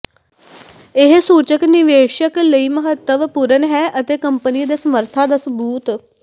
ਇਹ ਸੂਚਕ ਨਿਵੇਸ਼ਕ ਲਈ ਮਹੱਤਵਪੂਰਨ ਹੈ ਅਤੇ ਕੰਪਨੀ ਦੇ ਸਮਰੱਥਾ ਦਾ ਸਬੂਤ